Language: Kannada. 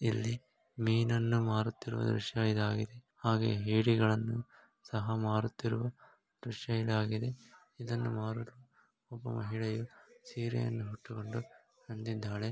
ಇಲ್ಲಿ ಮೀನನ್ನು ಮಾರುತ್ತಿರುವ ದೃಶ್ಯ ಇದಾಗಿದೆ ಹಾಗೆ ಏಡಿಗಳನ್ನು ಸಹ ಮಾರುತ್ತಿರುವ ದೃಶ್ಯ ಇದಾಗಿದೆ. ಇದನ್ನು ಮಾರುವ ಒಬ್ಬ ಮಹಿಳೆ ಸೀರೆಯನ್ನು ಉಟ್ಟುಕೊಂಡು ಬಂದಿದ್ದಾಳೆ.